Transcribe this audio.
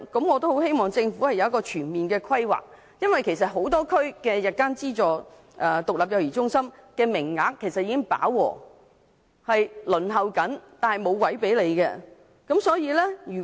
我希望政府能作出全面規劃，因為很多地區的日間資助獨立幼兒中心的名額其實已飽和，市民正在輪候，卻沒有空位。